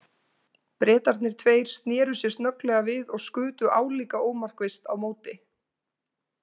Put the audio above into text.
Bretarnir tveir sneru sér snögglega við og skutu álíka ómarkvisst á móti.